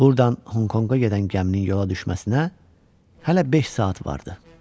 Burdan Honkonga gedən gəminin yola düşməsinə hələ beş saat vardı.